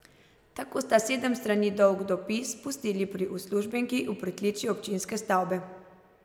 Tako sta sedem strani dolg dopis pustili pri uslužbenki v pritličju občinske stavbe.